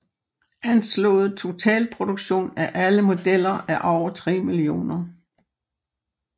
Anslået totalproduktion af alle modeller er over 3 millioner